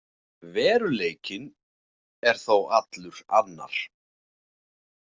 Veruleikinn er þó allur annar.